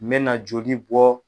M bɛ na joli bɔ.